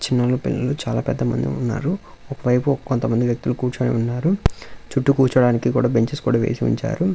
చిన్న పిల్లలు చాలా పెద్దమంది ఉన్నారు వైపు కొంతమంది వ్యక్తులు కూర్చుని ఉన్నారు చుట్టూ కూర్చోడానికి కూడా బెంచెస్ కూడా వేసి ఉంచారు.